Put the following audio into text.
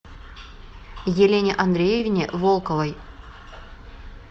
елене андреевне волковой